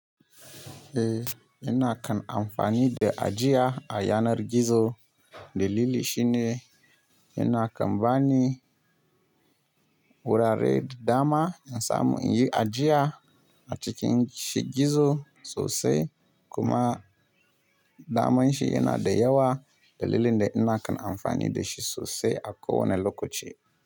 Eh, ina kan amfani da ajiya a yanar gizo. Dalili shine, ina kan bani, wurare da dama in samu in yi ajiya a cikin shi gizo sosai, kuma daman shi yana da yawa. Dalilin da ina kan amfani da shi sosai akowa ne lokaci.